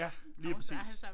Ja lige præcis